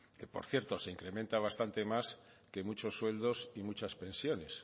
que por cierto se incrementa bastante más que muchos sueldos y muchas pensiones